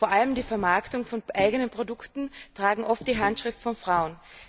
Vor allem die Vermarktung von eigenen Produkten trägt oft die Handschrift von Frauen.